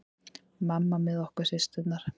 Mamma með okkur systurnar.